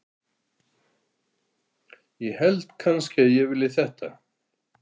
ég held kannski að ég vilji þetta.